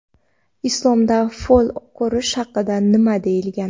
Islomda fol ko‘rish haqida nima deyilgan?.